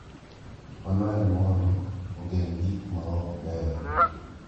Mano en mondo ogeng’ gik ma ok beyo.